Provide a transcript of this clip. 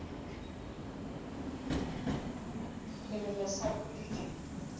ke re le sa khuditše